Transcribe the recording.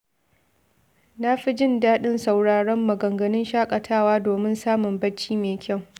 Na fi jin daɗin sauraron maganganun shakatawa domin samun bacci mai kyau.